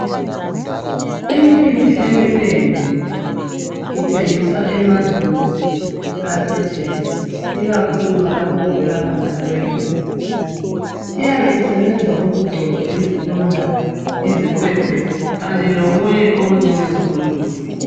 Imithi eminengi ithengiswa emazweni aphetsheya ikakhulu lapho okuvela khona abelungu iyabe isebenza ukugcotshwa izilonda izikhwekhwe kanye lokunye okunjenge zikhundula.